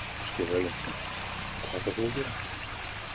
Ásgeir Erlendsson: Og hvað ætlar þú að gera?